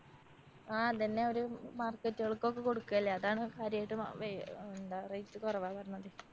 ആ അതന്നെ ഓര് market കൾക്കൊക്കെ കൊടുക്കല്ലേ. അതാണ്‌ കാര്യായിട്ട് വാ വേ എന്താ rate കൊറവാ പറഞ്ഞത്.